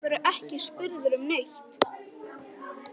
Þá verðurðu ekki spurður um neitt.